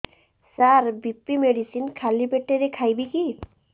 ସାର BP medicine ଖାଲି ପେଟରେ ଖାଇବି କି